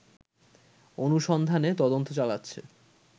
অনুসন্ধানে তদন্ত চালাচ্ছে